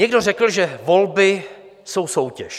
Někdo řekl, že volby jsou soutěž.